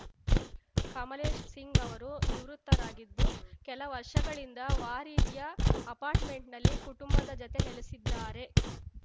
ಕಮಲೇಶ್‌ ಸಿಂಗ್‌ ಅವರು ನಿವೃತ್ತರಾಗಿದ್ದು ಕೆಲ ವರ್ಷಗಳಿಂದ ವಾರಿರ್ಯ ಅಪಾರ್ಟ್‌ಮೆಂಟ್‌ನಲ್ಲಿ ಕುಟುಂಬದ ಜತೆ ನೆಲೆಸಿದ್ದಾರೆ